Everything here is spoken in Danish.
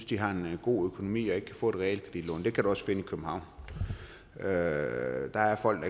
de har en god økonomi og ikke kan få et realkreditlån det kan du også finde i københavn der der er folk